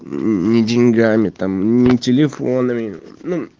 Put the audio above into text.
ни деньгами там ни телефонами ну